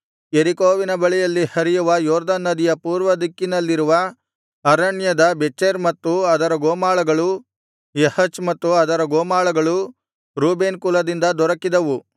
ಯೆರಿಕೋವಿನ ಬಳಿಯಲ್ಲಿ ಹರಿಯುವ ಯೊರ್ದನ್ ನದಿಯ ಪೂರ್ವದಿಕ್ಕಿನಲ್ಲಿರುವ ಅರಣ್ಯದ ಬೆಚೆರ್ ಮತ್ತು ಅದರ ಗೋಮಾಳಗಳು ಯಹಚ್ ಮತ್ತು ಅದರ ಗೋಮಾಳಗಳು ರೂಬೇನ್ ಕುಲದಿಂದ ದೊರಕಿದವು